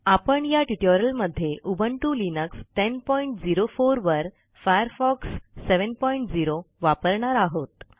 आपण या ट्युटोरियलमध्ये उबुंटू लिनक्स 1004 वर फायरफॉक्स 70 वापरणार आहोत